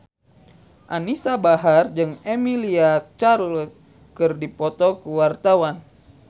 Anisa Bahar jeung Emilia Clarke keur dipoto ku wartawan